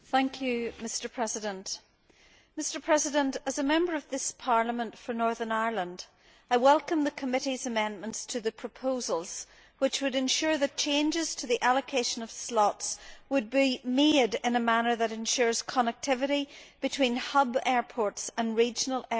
Mr President, as a Member of this Parliament for Northern Ireland, I welcome the committee's amendments to the proposals, which would ensure that changes to the allocation of slots would be made in a manner that ensures connectivity between hub airports and regional airports.